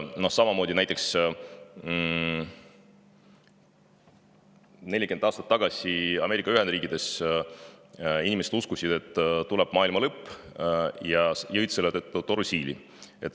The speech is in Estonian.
Samamoodi uskusid näiteks inimesed 40 aastat tagasi Ameerika Ühendriikides, et tuleb maailmalõpp, ja jõid selle tõttu torusiili.